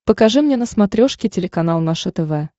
покажи мне на смотрешке телеканал наше тв